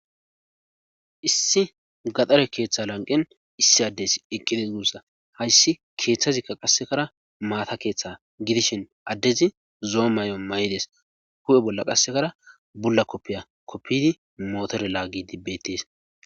issi gaxare keeththa lanqen issi addes eqqides guussa hayssi keeththazikka qassekara maata keeththa gidishin addezi zoo may7o maydes hu7e bolla qassekara bulla koppiya koppidi mootore laagi dibbettes